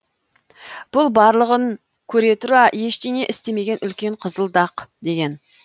бұл барлығын көре тұра ештеңе істемеген үлкен қызыл дақ деген